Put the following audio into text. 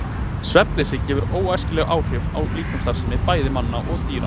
Svefnleysi hefur óæskileg áhrif á líkamsstarfsemi bæði manna og dýra.